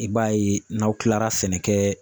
I b'a ye n'aw kilara sɛnɛkɛ